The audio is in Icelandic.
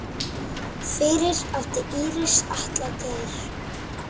Fyrir átti Íris Atla Geir.